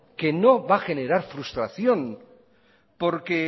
que no va a generar frustración porque